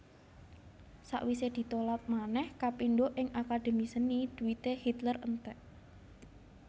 Sawisé ditolak manèh kapindho ing Akademi Seni dhuwité Hitler entèk